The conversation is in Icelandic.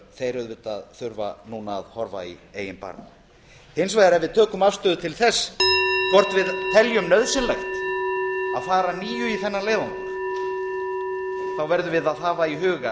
þeir auðvitað þurfa núna að horfa í eigin barm hins vegar ef við tökum afstöðu til þess hvort við teljum nauðsynlegt að fara að nýju í þennan leiðangur verðum við að hafa í huga